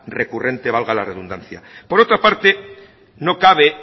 recurrente valga la redundancia por otra parte no cabe